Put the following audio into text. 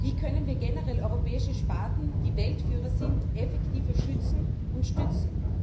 Wie können wir generell europäische Sparten, die Weltführer sind, effektiver schützen und stützen?